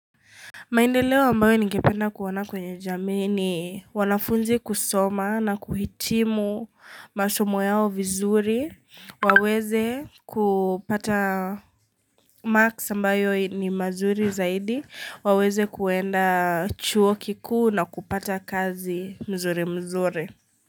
Maendeleo ambayo ningependa kuona kwenye jamii ni wanafunzi kusoma na kuhitimu masomo yao vizuri, waweze kupata marks ambayo ni mazuri zaidi, waweze kuenda chuo kikuu na kupata kazi mzuri mzuri.